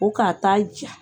O k'a ta ja.